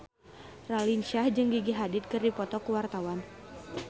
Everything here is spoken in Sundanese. Raline Shah jeung Gigi Hadid keur dipoto ku wartawan